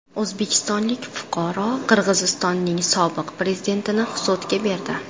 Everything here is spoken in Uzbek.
O‘zbekistonlik fuqaro Qirg‘izistonning sobiq prezidentini sudga berdi.